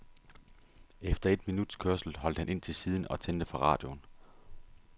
Efter et minuts kørsel holdt han ind til siden og tændte for radioen.